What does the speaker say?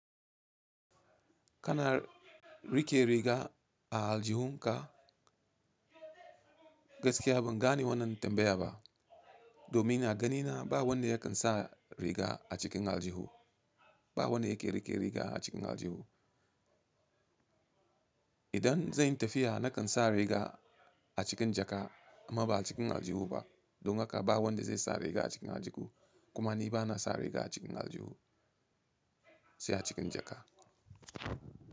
Kana rike riga a aljihun ka, gaskiya ban gane wannan tambaya ba. Domin a ganina ba wanda yakan sa riga a cikin aljihu, ba wanda yake rike riga a cikin aljihu. Idan zan yi tafiya na kan sa riga a cikin jaka amma ba a cikin aljihu ba. Don haka ba wanda zai sa riga a cikin aljihu kuma ni bana sa riga a cikin aljihu, sai a cikin jaka.